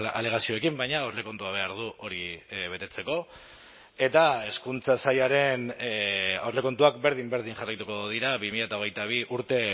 alegazioekin baina aurrekontua behar du hori betetzeko eta hezkuntza sailaren aurrekontuak berdin berdin jarraituko dira bi mila hogeita bi urte